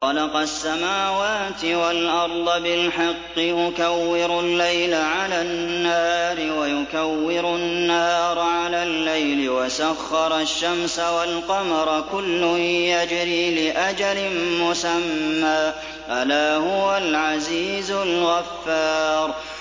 خَلَقَ السَّمَاوَاتِ وَالْأَرْضَ بِالْحَقِّ ۖ يُكَوِّرُ اللَّيْلَ عَلَى النَّهَارِ وَيُكَوِّرُ النَّهَارَ عَلَى اللَّيْلِ ۖ وَسَخَّرَ الشَّمْسَ وَالْقَمَرَ ۖ كُلٌّ يَجْرِي لِأَجَلٍ مُّسَمًّى ۗ أَلَا هُوَ الْعَزِيزُ الْغَفَّارُ